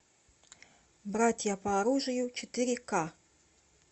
братья по оружию четыре к